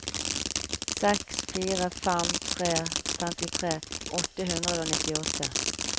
seks fire fem tre femtitre åtte hundre og nittiåtte